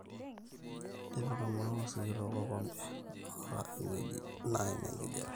tipika maua sikitok olkompe loota ewueji naim enkijape